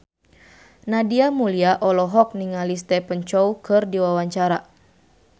Nadia Mulya olohok ningali Stephen Chow keur diwawancara